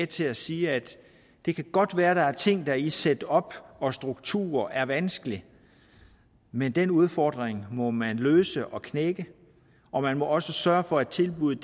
til at sige at det godt kan være der er ting der i setup og struktur er vanskeligt men den udfordring må man løse og knække og man må også sørge for at tilbuddet